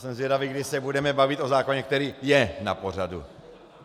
Jsem zvědavý, kdy se budeme bavit o zákoně, který je na pořadu.